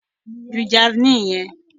Ju javeline yẹn!